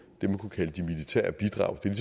det man kunne kalde de militære bidrag det er